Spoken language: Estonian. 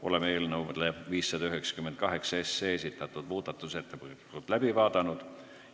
Oleme eelnõu 598 muudatusettepanekud läbi vaadanud.